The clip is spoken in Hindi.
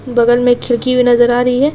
बगल में एक खिड़की नजर आ रही है।